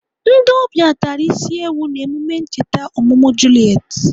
Ndị ọbịa tara isi ewu n'emume ncheta ọmụmụ Juliet.